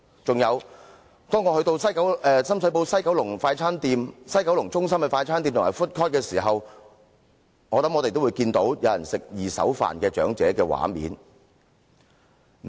此外，當我們到深水埗西九龍中心的快餐店和 food court 時，相信也會看到有長者吃"二手飯"的畫面。